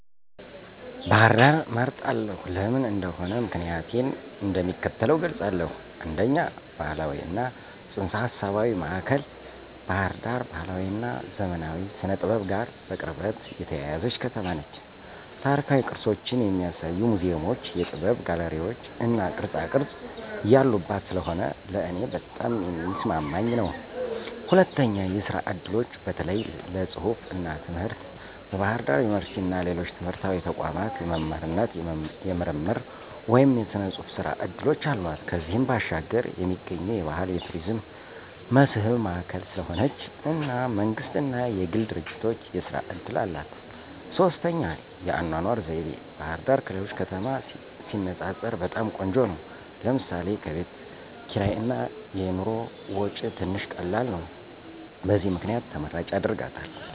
ባህር ዳርን እመርጣለሁ። ለምን እንደሆነ ምክንያቲን እንደሚከተለው እገልፃለሁ፦ 1, ባህላዊ እና ፅንሰ-ሀሳባዊ ማእከል ባህር ዳር ባህላዊ እና ዘመናዊ ስነ-ጥበብ ጋር በቅርበት የተያያዘች ከተማ ነች። ታሪካዊ ቅርሶችን የሚያሳዩ ሙዚየሞች፣ የጥበብ ጋለሪዎች እና ቅርፃቅረፅ ያሉባት ስለሆነ ለእኔ በጣም የሚስማማኝ ነው። 2, የስራ እድሎች (በተለይ ለፅሁፍ እና ትምህርት) ፦ በባህር ዳር ዩኒቨርሲቲ እና ሌሎች ትምህርታዊ ተቋማት የመምህርነት፣ የምርምር ወይም የጽሑፍ ሥራ ዕድሎች አሏት። ከዚያም ባሻገር የሚገኙ የባህል የቱሪዝም መስህብ ማእከል ስለሆነች እና መንግስት እና የግል ድርጂቶች የስራ እድል አላት። 3, የአኗኗር ዘይቤ፦ ባህርዳር ከሌሎች ከተማ ሲነፃፀር በጣም ቆንጆ ነው ለምሳሌ፦ ከቤት ክርይ እና የኑሮ ወጪ ትንሽ ቀላል ነው። በዚህ ምክንያት ተመራጭ ያደርጋታል።